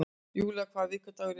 Julia, hvaða vikudagur er í dag?